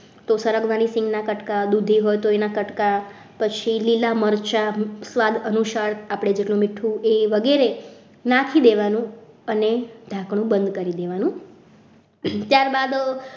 તો સરગવાની સિંગના કટકા દૂધી હોય તો દૂધીના કટકા પછી લીલા મરચા સ્વાદ અનુસાર આપણે જે મીઠું વગેરે નાખી દેવાનું અને ઢાંકણું બંધ કરી દેવાનું ત્યારબાદ